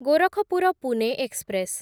Gorakhpur Pune express